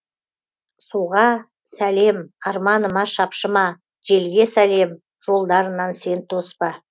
суға сәлем арманыма шапшыма желге сәлем жолдарынан сен тоспа